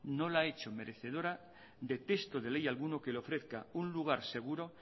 no la ha hecho merecedora de texto de ley alguno que le ofrezca un lugar seguro